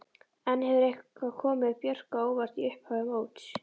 En hefur eitthvað komið Björk á óvart í upphafi móts?